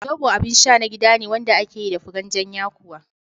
Zobo abin sha na gida ne wanda ake yi da furen jan yakuwa